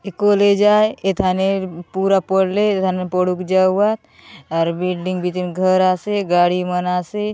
ए college आय ए थाने पूरा पढ़ले एथाने पढुक जाऊ आत आर बिल्डिंग बीती घर आसे गाड़ी मना आसे।